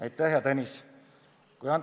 Aitäh, hea Tõnis!